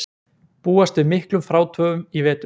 Búast við miklum frátöfum í vetur